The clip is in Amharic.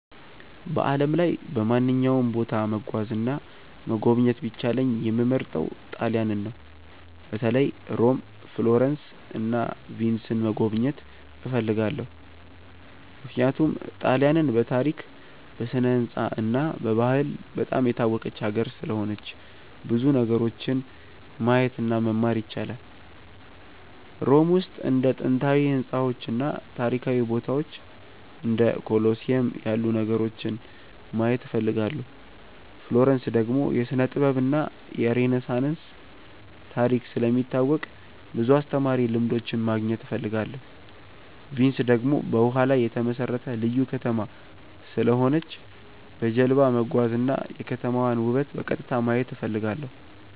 በዓለም ላይ በማንኛውም ቦታ መጓዝ እና መጎብኘት ቢቻለኝ የምመርጠው ጣሊያንን ነው። በተለይ ሮም፣ ፍሎረንስ እና ቪንስን መጎብኘት እፈልጋለሁ። ምክንያቱም ጣሊያንን በታሪክ፣ በስነ-ሕንፃ እና በባህል በጣም የታወቀች ሀገር ስለሆነች ብዙ ነገሮችን ማየት እና መማር ይቻላል። ሮም ውስጥ እንደ ጥንታዊ ሕንፃዎች እና ታሪካዊ ቦታዎች እንደ ኮሎሲየም ያሉ ነገሮችን ማየት እፈልጋለሁ። ፍሎረንስ ደግሞ የስነ-ጥበብ እና የሬነሳንስ ታሪክ ስለሚታወቅ ብዙ አስተማሪ ልምዶች ማግኘት እፈልጋለሁ። ቪንስ ደግሞ በውሃ ላይ የተመሠረተ ልዩ ከተማ ስለሆነች በጀልባ መጓዝ እና የከተማዋን ውበት በቀጥታ ማየት እፈልጋለሁ።